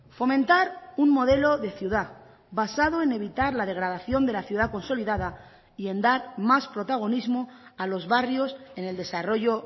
fomentar un modelo de ciudad basado en evitar la degradación de la ciudad consolidada y en dar más protagonismo a los barrios en el desarrollo